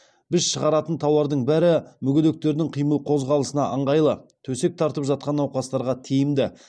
біз шығаратын тауардың бәрі мүгедектердің қимыл қозғалысына ыңғайлы төсек тартып жатқан науқастарға тиімді